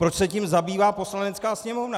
Proč se tím zabývá Poslanecká sněmovna?